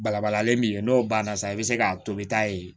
Balabalalen min ye n'o banna sisan i bɛ se k'a tobi taa yen